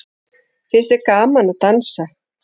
Finnst þér gaman að dansa?